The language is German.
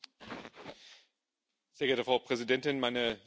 Frau Präsidentin, meine sehr geehrten Damen und Herren Kollegen!